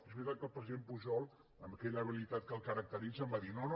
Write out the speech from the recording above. és veritat que el president pujol amb aquella habilitat que el caracteritza em va dir no no